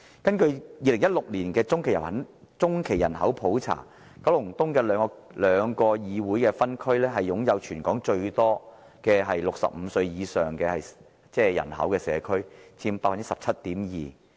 根據2016年的中期人口普查，九龍東的兩個議會分區是全港擁有最多65歲以上人口的社區，佔 17.2%。